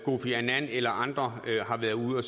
kofi annan eller andre har været ude